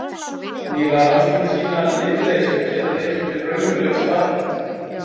Nýlegar rannsóknir sýna að lyfleysur geta leitt til raunverulegs bata.